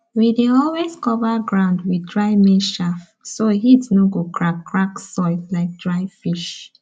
we dey always cover ground with dry maize chaff so heat no go crack crack soil like dry fish